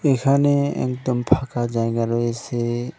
এখানে একদম ফাঁকা জায়গা রয়েছে।